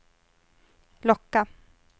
locka